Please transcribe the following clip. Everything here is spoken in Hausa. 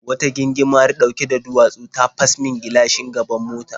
Wata gingimari ɗauke da duwatsu ta fas min gilashin gaban mota.